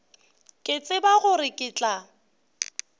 ke tsebe gore ke tla